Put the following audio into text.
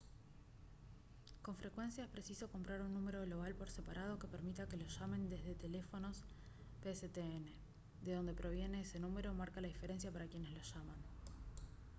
con frecuencia es preciso comprar un número global por separado que permita que lo llamen desde teléfonos pstn de dónde proviene ese número marca la diferencia para quienes lo llaman